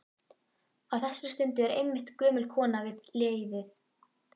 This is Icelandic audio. Á þessari stundu er einmitt gömul kona við leiðið.